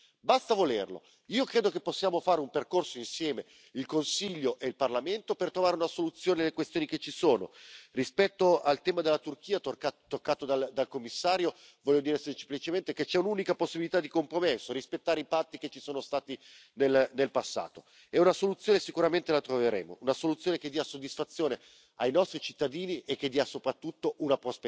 transformant le budget de l'Union européenne en roue de secours budgétaire, comme il le fait pour le financement de l'accueil des réfugiés syriens en Turquie. La phase de l'arbitraire bureaucratique doit faire place à celle de la vision et de l'engagement politique. À la veille des élections européennes, nous devons délivrer un message clair et volontaire aux citoyens européens. Répondons à leur impatience en confortant une Europe qui leur parle, une Europe qui prépare